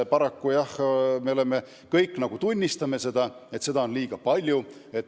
Me kõik tunnistame, et paraku on seda liiga palju.